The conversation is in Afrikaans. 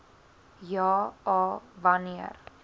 ja a wanneer